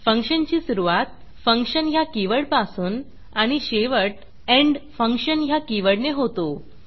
फंक्शनची सुरूवात functionफंक्शन ह्या कीवर्डपासून आणि शेवट endfunctionएण्ड फंक्शन ह्या कीवर्डने होतो